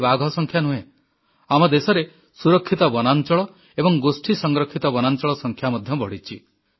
ଖାଲି ବାଘ ସଂଖ୍ୟା ନୁହେଁ ଆମ ଦେଶରେ ସୁରକ୍ଷିତ ବନାଞ୍ଚଳ ଏବଂ ଗୋଷ୍ଠୀ ସଂରକ୍ଷିତ ବନାଞ୍ଚଳ ସଂଖ୍ୟା ମଧ୍ୟ ବଢ଼ିଛି